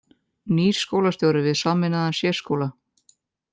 Nýr skólastjóri við sameinaðan sérskóla